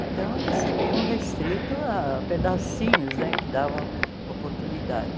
Então, eles se viam restritos a pedacinhos né que davam oportunidade.